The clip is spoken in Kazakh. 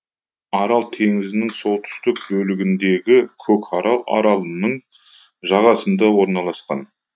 арал теңізінің солтүстік бөлігіндегі көкарал аралының жағасында орналасқан